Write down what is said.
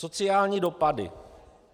Sociální dopady.